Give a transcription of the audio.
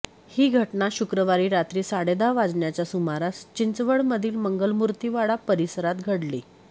ही घटना शुक्रवारी रात्री साडेदहा वाजण्याच्या सुमारास चिंचवडमधील मंगलमूर्तीवाडा परिसरात घडली